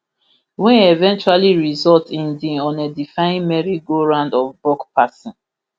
wey eventually result in di unedifying merry go round of buck passing